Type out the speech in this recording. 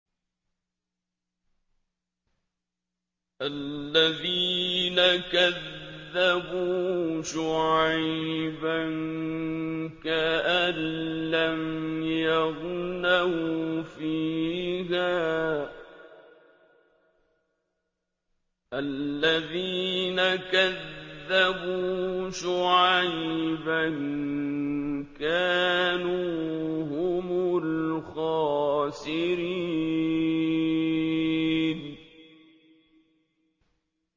الَّذِينَ كَذَّبُوا شُعَيْبًا كَأَن لَّمْ يَغْنَوْا فِيهَا ۚ الَّذِينَ كَذَّبُوا شُعَيْبًا كَانُوا هُمُ الْخَاسِرِينَ